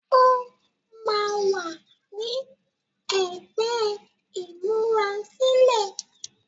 óma wá ní ègbé imurasilẹ.